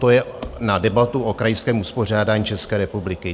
To je na debatu o krajském uspořádání České republiky.